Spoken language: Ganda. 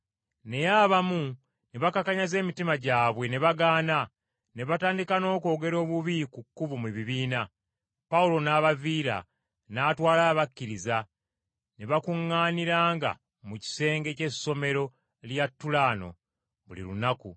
Naye abamu ne bakakanyaza emitima gyabwe ne bagaana, ne batandika n’okwogera obubi ku Kkubo mu bibiina. Pawulo n’abaviira, n’atwala abakkiriza, ne bakuŋŋaaniranga mu kisenge ky’essomero lya Tulaano buli lunaku.